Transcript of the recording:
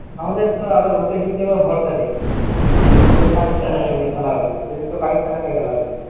আমাদের তো আবার opening কে আবার ভরসা নেই বিশেষ করে পাকিস্তানের সঙ্গে খেলা হলে বিশেষ করে পাকিস্তানের সঙ্গে খেলা হলে।